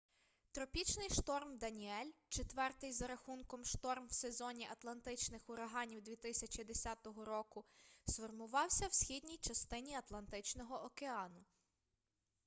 тропічний шторм даніель четвертий за рахунком шторм в сезоні атлантичних ураганів 2010 року сформувався в східній частині атлантичного океану